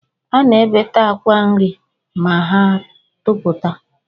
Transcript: A na-ebete akwa nri ma ha toputa